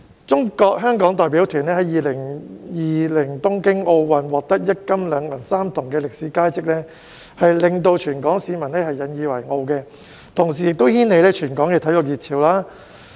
中國香港代表團在2020年東京奧運獲得一金、兩銀、三銅的歷史佳績，令全港市民引以為傲，同時亦掀起全港的體育熱潮。